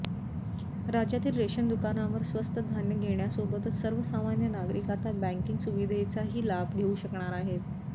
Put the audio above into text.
राज्यातील रेशन दुकानांवर स्वस्त धान्य घेण्यासोबतच सर्वसामान्य नागरिक आता बँकिंग सुविधेचाही लाभ घेऊ शकणार आहेत